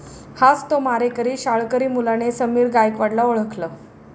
हाच तो मारेकरी', शाळकरी मुलाने समीर गायकवाडला ओळखलं